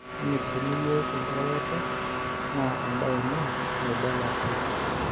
Kemitikini yiok enkiroroto naa embae ina naibala piii